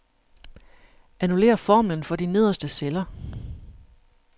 Annullér formlen for de nederste celler.